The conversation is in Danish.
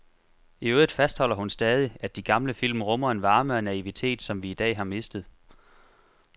I øvrigt fastholder hun stadig, at de gamle film rummer en varme og naivitet, som vi i dag har mistet.